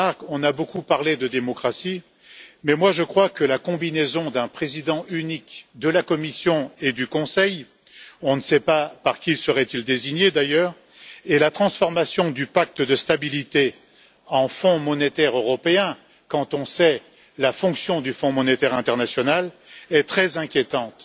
On a beaucoup parlé de démocratie, mais je crois que la combinaison d'un président unique de la Commission et du Conseil on ne sait pas par qui il serait désigné d'ailleurs et la transformation du pacte de stabilité en fonds monétaire européen quand on sait la fonction du Fonds monétaire international sont très inquiétantes,